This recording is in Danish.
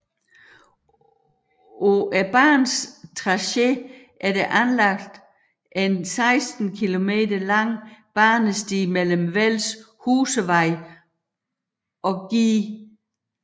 På banens tracé er der anlagt en 16 km lang banesti mellem Velds Husevej og Gl